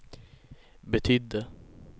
betydde